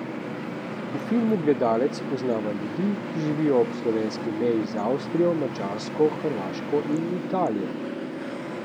V filmu gledalec spoznava ljudi, ki živijo ob slovenski meji z Avstrijo, Madžarsko, Hrvaško in Italijo.